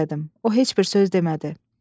O heç bir söz demədi.